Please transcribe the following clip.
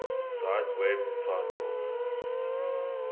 cite web title